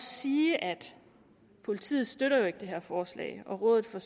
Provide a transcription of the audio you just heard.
sige at politiet støtter det her forslag og rådet for